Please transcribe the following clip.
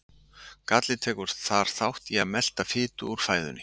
Gallið tekur þar þátt í að melta fitu úr fæðunni.